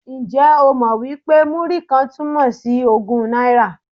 Ǹjẹ́ o mọ̀ wí pé Múrí-kan túmọ̀ sí ogún náírà?